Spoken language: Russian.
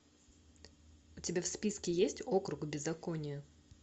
у тебя в списке есть округ беззакония